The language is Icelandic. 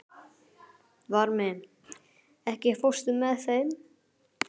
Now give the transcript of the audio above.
Varmi, ekki fórstu með þeim?